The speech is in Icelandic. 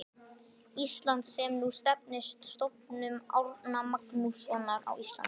Íslands, sem nú nefnist Stofnun Árna Magnússonar á Íslandi.